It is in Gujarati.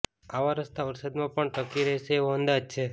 આવા રસ્તા વરસાદમાં પણ ટકી રહેશે એવો અંદાજ છે